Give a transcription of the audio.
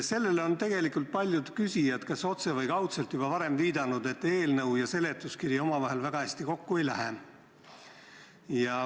Sellele on paljud küsijad kas otse või kaudselt juba viidanud, et eelnõu ja seletuskiri omavahel väga hästi kokku ei lähe.